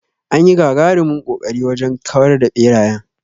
Anyi gagarumin ƙoƙari wajen kawar da ɓerayen.